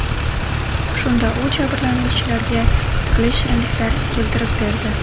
Shunda u jabrlanuvchilarga turli shirinliklar keltirib berdi.